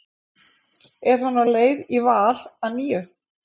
En er hann á leið í Val að nýju?